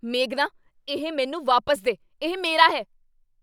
ਮੇਘਨਾ, ਇਹ ਮੈਨੂੰ ਵਾਪਸ ਦੇ। ਇਹ ਮੇਰਾ ਹੈ!